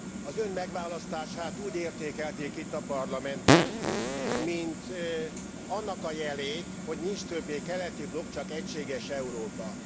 Az Ön megválasztását úgy értékelték itt a Parlamentben, mint annak a jelét, hogy nincs többé keleti blokk, csak egységes Európa.